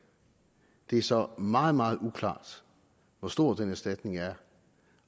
det er så meget meget uklart hvor stor den erstatning er